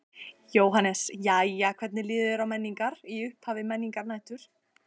Jóhannes: Jæja hvernig líður þér á Menningar, í upphafi Menningarnætur?